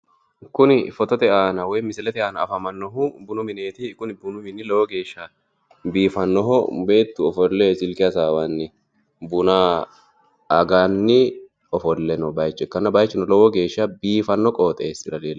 Kuni foottote aana afamanohu bunu mine ikkanna beettu silke amade noottanna qoxxeesu lowo geeshsha biifinoha ikkinotta kulittano